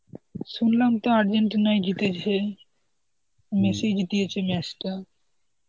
শুনলাম তো আর্জেন্টিনাই জিতেছে. মেসিই জিতিয়েছে match টা.